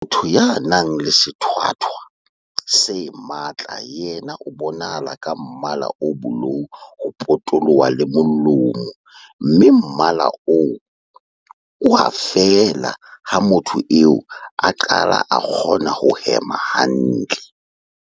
Motho ya nang le sethwathwa se matla yena o bonahala ka mmala o bolou ho potoloha le molomo mme mmala oo o a fela ha motho eo a qala a kgona ho hema hantle.